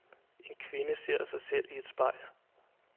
En kvinde ser sig i et spejl.